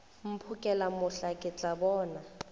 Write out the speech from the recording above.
mphokela mohla ke tla bona